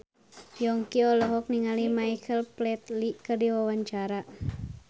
Yongki olohok ningali Michael Flatley keur diwawancara